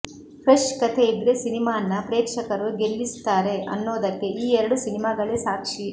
fresh ಕಥೆಇದ್ರೆ ಸಿನಿಮಾನ್ನ ಪ್ರೇಕ್ಷಕರು ಗೆಲ್ಲಿಸ್ತಾರೆ ಅನ್ನೋದಕ್ಕೆ ಈ ಎರಡು ಸಿನಿಮಾಗಳೇ ಸಾಕ್ಷಿ